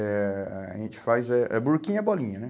Eh... A gente faz eh, a burquinha é a bolinha, né?